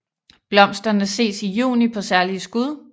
Blomsterne ses i juni på særlige skud